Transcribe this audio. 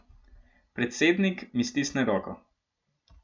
Predsednik mi stisne roko.